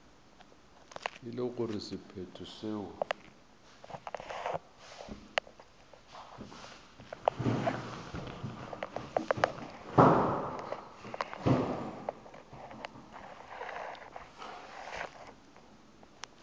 e le gore sephetho seo